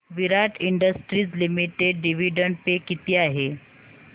विराट industries limited dividend pay किती आहे